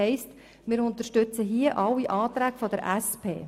Wir unterstützen also alle Anträge der SP-JUSO-PSA-Fraktion.